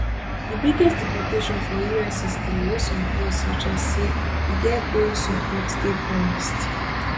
di biggest deportation for us history wey some polls suggest say e get growing support dey promised